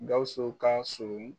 Gawusu ka son